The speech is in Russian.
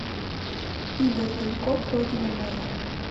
игорь тальков родина моя